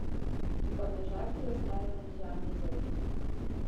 V Podmežakli ostaja Žan Jezovšek.